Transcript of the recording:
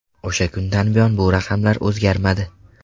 O‘sha kundan buyon bu raqamlar o‘zgarmadi.